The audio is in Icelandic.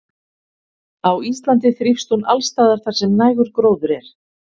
Á Íslandi þrífst hún alls staðar þar sem nægur gróður er.